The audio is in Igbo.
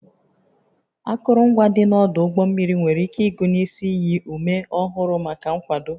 Akụrụngwa dị n'ọdụ ụgbọ mmiri nwere ike ịgụnye isi iyi ume ọhụrụ maka nkwado